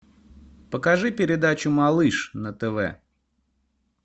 покажи передачу малыш на тв